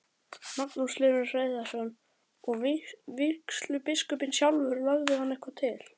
Magnús Hlynur Hreiðarsson: Og vígslubiskupinn sjálfur, lagði hann eitthvað til?